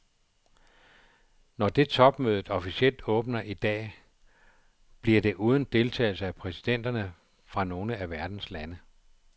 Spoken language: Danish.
Når det topmødet officielt åbner i dag, bliver det uden deltagelse af præsidenterne fra nogle af verdens lande.